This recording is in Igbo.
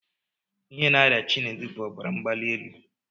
Ihe na-arịa Chinedu bụ ọbara mgbalielu